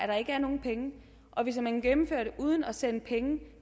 der ikke er nogen penge og hvis man gennemfører det uden at sende penge